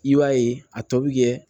I b'a ye a tɔ bi kɛ